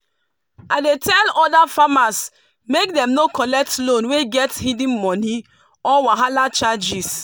i dey tell other farmers make dem no collect loan wey get hidden money or wahala charges.